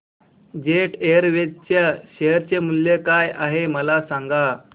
jet Airways च्या share चे मूल्य काय आहे मला सांगा